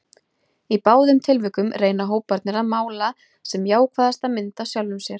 Í báðum tilvikum reyna hóparnir að mála sem jákvæðasta mynd af sjálfum sér.